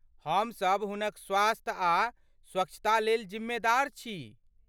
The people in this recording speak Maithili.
हमसभ हुनक स्वास्थ्य आ स्वच्छतालेल जिम्मेदार छी।